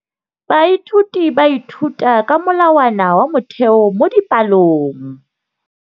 Baithuti ba ithuta ka molawana wa motheo mo dipalong.